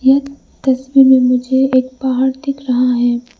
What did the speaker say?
यह तस्वीर में मुझे एक पहाड़ दिख रहा है।